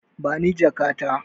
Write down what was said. Bani jaka ta.